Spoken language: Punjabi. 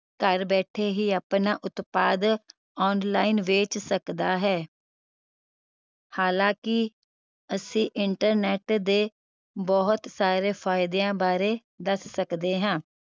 ਘਰ ਬੈਠੇ ਹੀ ਆਪਣਾ ਉਤਪਾਦ online ਵੇਚ ਸਕਦਾ ਹੈ ਹਾਲਾਂਕਿ ਅਸੀਂ internet ਦੇ ਬਹੁਤ ਸਾਰੇ ਫਾਇਦਿਆਂ ਬਾਰੇ ਦਸ ਸਕਦੇ ਹਾਂ